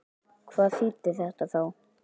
Hvað þýddi þetta þá?